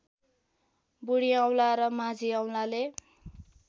बुढीऔँला र माझीऔँलाले